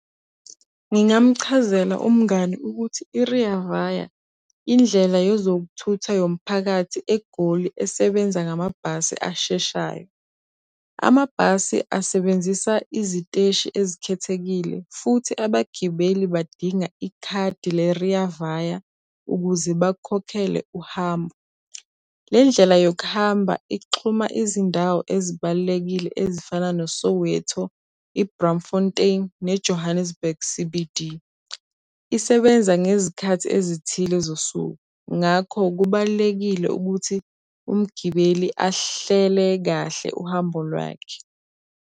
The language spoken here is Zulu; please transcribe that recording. Ngingamchazela umngani ukuthi i-Rea Vaya, indlela yezokuthutha yomphakathi eGoli esebenza ngamabhasi asheshayo. Amabhasi asebenzisa iziteshi ezikhethekile, futhi abagibeli badinga ikhadi le-Rea Vaya ukuze bakhokhele uhambo. Le ndlela yokuhamba ixhuma izindawo ezibalulekile ezifana noSoweto, i-Braamfontein ne-Johannesburg C_B_D. Isebenza ngezikhathi ezithile zosuku. Ngakho kubalulekile ukuthi umgibeli ahlele kahle uhambo lwakhe.